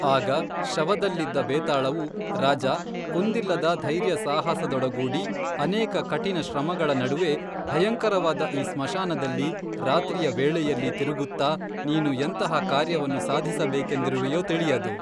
ಆಗ ಶವದಲ್ಲಿದ್ದ ಭೇತಾಳವು ರಾಜಾ, ಕುಂದಿಲ್ಲದ ಧೈರ್ಯ ಸಾಹಸದೊಡಗೂಡಿ ಅನೇಕ ಕಠಿನ ಶ್ರಮಗಳ ನಡುವೆ ಭಯಂಕರವಾದ ಈ ಸ್ಮಶಾನದಲ್ಲಿ ರಾತ್ರಿಯ ವೇಳೆಯಲ್ಲಿ ತಿರುಗುತ್ತಾ ನೀನು ಎಂತಹ ಕಾರ್ಯವನ್ನು ಸಾಧಿಸ ಬೇಕೇಂದಿರುವೆಯೋ ತಿಳಿಯದು